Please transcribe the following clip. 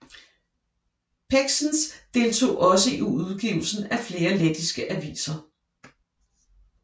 Pēkšēns deltog også i udgivelsen af flere lettiske aviser